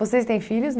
Vocês têm filhos